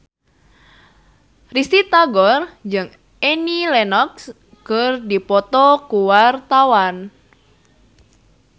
Risty Tagor jeung Annie Lenox keur dipoto ku wartawan